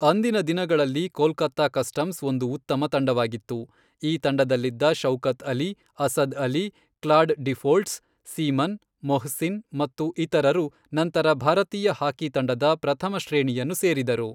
ಅಂದಿನ ದಿನಗಳಲ್ಲಿ ಕೋಲ್ಕತ್ತಾ ಕಸ್ಟಮ್ಸ್ ಒಂದು ಉತ್ತಮ ತಂಡವಾಗಿತ್ತು, ಈ ತಂಡದಲ್ಲಿದ್ದ Shaukat Ali, Asad Ali, Claude Deefholts, Seaman, Mohsin ಮತ್ತು ಇತರರು ನಂತರ ಭಾರತೀಯ ಹಾಕಿ ತಂಡದ ಪ್ರಥಮ ಶ್ರೇಣಿಯನ್ನು ಸೇರಿದರು .